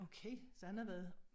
Okay så han har været